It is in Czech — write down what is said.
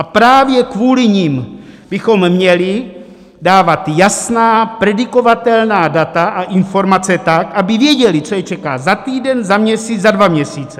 A právě kvůli nim, bychom měli dávat jasná, predikovatelná data a informace tak, aby věděli, co je čeká za týden, za měsíc, za dva měsíce.